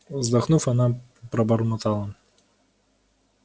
вздохнув она пробормотала